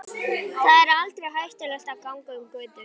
Þar er aldrei hættulegt að ganga um götur.